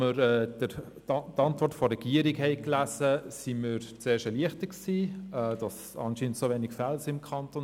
Als wir die Antwort der Regierung gelesen haben, waren wir zuerst erleichtert, dass es im Kanton Bern anscheinend so wenige Fälle gibt.